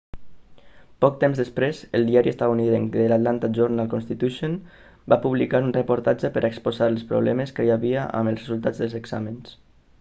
poc temps després el diari estatunidenc the atlanta journal-constitution va publicar un reportatge per a exposar els problemes que hi havia amb els resultats dels exàmens